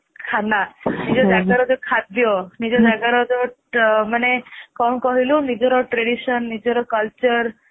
ଖାନା ନିଜ ଜଗର ଯୋଉ ଖାଦ୍ଯ ନିଜ ଜଗର ଯୋଉ ମାନେ କଣ କହିଲୁ ନିଜର tradition ନିଜର culture